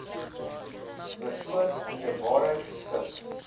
persoon inderwaarheid geskik